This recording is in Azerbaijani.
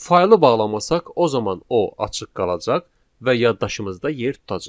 Faylı bağlamasaq, o zaman o açıq qalacaq və yaddaşımızda yer tutacaq.